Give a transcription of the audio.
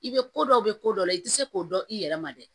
I bɛ ko dɔ bɛ ko dɔ la i tɛ se k'o dɔn i yɛrɛ ma dɛ